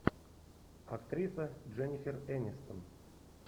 актриса дженнифер энистон